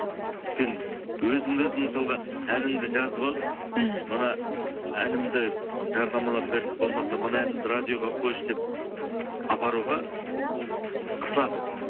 өйткені өзіңді өзің мысалға әніңді жазып алып мхм мына әнімді жарнамалап берші болмаса мына әнімді радиоға қойшы деп апаруға қысыласың